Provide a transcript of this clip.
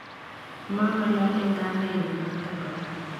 Mang'alale kamenyu notok kora.